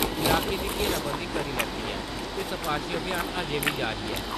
इलाके दी घेराबंदी करी लैती ऐ ते तपाशी अभियान अज्जें बी जारी ऐ।